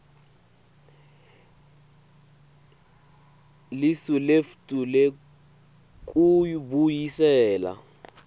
lisu letfu lekubuyisela